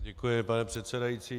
Děkuji, pane předsedající.